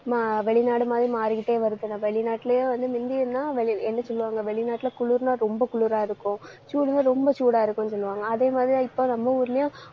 மா~ வெளிநாடு மாதிரி மாறிக்கிட்டே வருதுல. வெளிநாட்டுலேயே வந்து என்ன சொல்லுவாங்க வெளிநாட்டுல குளிர்ன்னா ரொம்ப குளிர இருக்கும். அஹ் சூடுன்னா ரொம்ப சூடா இருக்கும்னு சொல்லுவாங்க. அதே மாதிரிதான் இப்ப நம்ம ஊர்லயும்